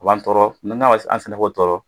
O b'an tɔɔrɔ an sɛnɛfɔw tɔɔrɔ